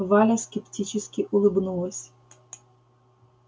валя скептически улыбнулась